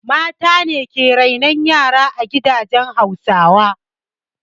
Mace ke renon yara a gidajen Hausawa.